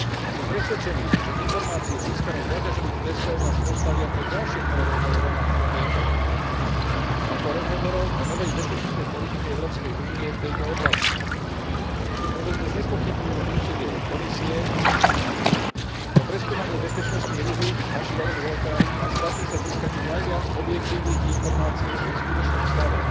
Som presvedčený, že informácie získané zo záťažových testov nás postavia pred ďalšie kolo rozhovorov na túto tému, a to rozhovorov o novej bezpečnostnej politike Európskej únie v tejto oblasti. Preto dnes nespochybňujme úsilie Komisie o preskúmanie bezpečnostných rizík našich jadrových elektrárni a snažme sa získať čo najviac objektívnych informácii o ich skutočnom stave.